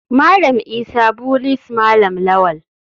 Malam isa bullies malam lawal.